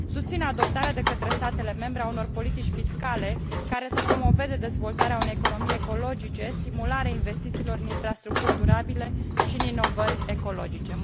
Susțin adoptarea de către statele membre a unor politici fiscale care să promoveze dezvoltarea unei economii ecologice, stimularea investițiilor în infrastructuri durabile și în inovări ecologice.